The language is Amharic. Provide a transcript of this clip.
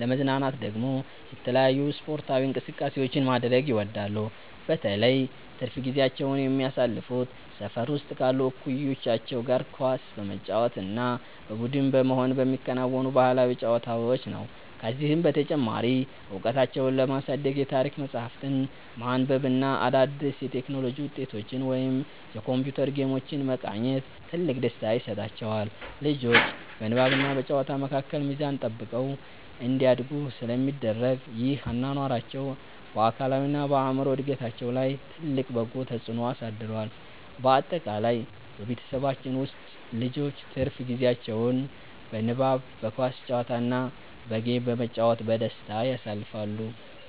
ለመዝናናት ደግሞ የተለያዩ ስፖርታዊ እንቅስቃሴዎችን ማድረግ ይወዳሉ። በተለይ ትርፍ ጊዜያቸውን የሚያሳልፉት ሰፈር ውስጥ ካሉ እኩዮቻቸው ጋር ኳስ በመጫወት እና በቡድን በመሆን በሚከወኑ ባህላዊ ጨዋታዎች ነው። ከዚህም በተጨማሪ እውቀታቸውን ለማሳደግ የታሪክ መጽሐፍትን ማንበብ እና አዳዲስ የቴክኖሎጂ ውጤቶችን ወይም የኮምፒውተር ጌሞችን መቃኘት ትልቅ ደስታ ይሰጣቸዋል። ልጆቹ በንባብና በጨዋታ መካከል ሚዛን ጠብቀው እንዲያድጉ ስለሚደረግ፣ ይህ አኗኗራቸው በአካላዊና በአእምሮ እድገታቸው ላይ ትልቅ በጎ ተጽዕኖ አሳድሯል። ባጠቃላይ በቤተሰባችን ውስጥ ልጆች ትርፍ ጊዜያቸውን በንባብ፣ በኳስ ጨዋታ እና በጌም በመጫወት በደስታ ያሳልፋሉ።